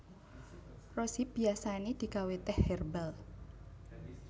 Rose hip biasané digawé tèh hèrbal